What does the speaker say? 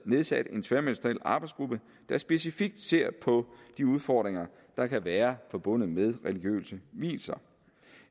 nedsat en tværministeriel arbejdsgruppe der specifikt ser på de udfordringer der kan være forbundet med religiøse vielser